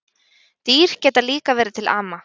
Dýr geta líka verið til ama